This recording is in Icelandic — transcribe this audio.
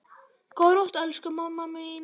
Góða nótt, elsku mamma mín.